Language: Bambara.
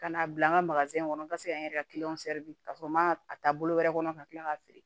Ka n'a bila n ka kɔnɔ n ka se ka n yɛrɛ ka di ka sɔrɔ n ma a ta bolo wɛrɛ kɔnɔ ka kila k'a feere